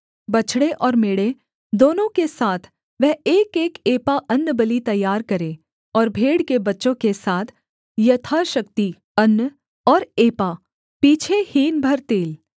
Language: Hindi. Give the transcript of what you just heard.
बछड़े और मेढ़े दोनों के साथ वह एकएक एपा अन्नबलि तैयार करे और भेड़ के बच्चों के साथ यथाशक्ति अन्न और एपा पीछे हीन भर तेल